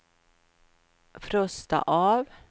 frosta av